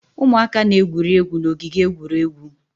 Ụmụaka na-egwuri egwu n'ogige egwuregwu